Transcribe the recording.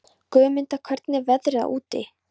Guðmunda, hvernig er veðrið úti?